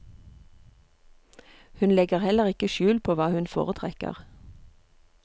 Hun legger heller ikke skjul på hva hun foretrekker.